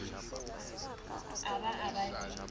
a ba a ba le